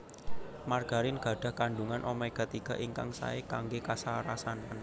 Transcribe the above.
Margarin gadhah kandhungan omega tiga ingkang saé kanggé kasarasan